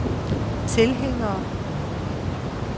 tilhængere